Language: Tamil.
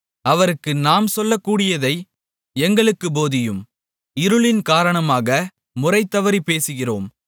அவருக்கு நாம் சொல்லக்கூடியதை எங்களுக்குப் போதியும் இருளின் காரணமாக முறைதவறிப் பேசுகிறோம்